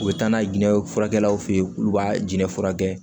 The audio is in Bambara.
U bɛ taa n'a ye jinɛ furakɛlaw fe ye k'u b'a jɛn furakɛ